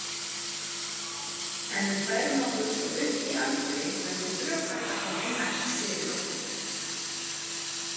Ef við færum okkur svo upp í aldri verður brjóstakrabbamein næst fyrir okkur.